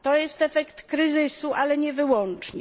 To jest efekt kryzysu, ale nie wyłącznie.